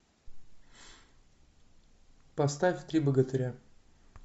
поставь три богатыря